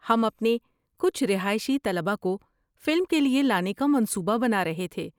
ہم اپنے کچھ رہائشی طلباء کو فلم کے لیے لانے کا منصوبہ بنا رہے تھے۔